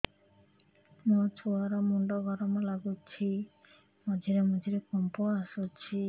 ମୋ ଛୁଆ ର ମୁଣ୍ଡ ଗରମ ଲାଗୁଚି ମଝିରେ ମଝିରେ କମ୍ପ ଆସୁଛି